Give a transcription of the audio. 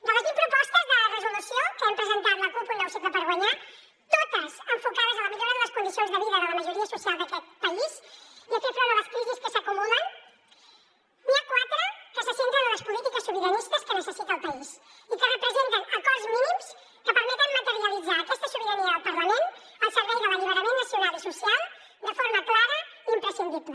de les vint propostes de resolució que hem presentat la cup un nou cicle per guanyar totes enfocades a la millora de les condicions de vida de la majoria social d’aquest país i a fer front a les crisis que s’acumulen n’hi ha quatre que se centren en les polítiques sobiranistes que necessita el país i que representen acords mínims que permeten materialitzar aquesta sobirania del parlament al servei de l’alliberament nacional i social de forma clara i imprescindible